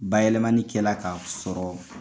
Bayɛlɛmani kɛla k'a sɔrɔ